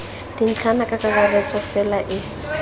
dintlhana ka kakaretso fela e